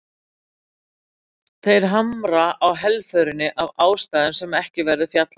Þeir hamra á helförinni, af ástæðum sem ekki verður fjallað um hér.